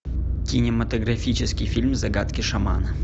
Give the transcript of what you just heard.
кинематографический фильм загадки шамана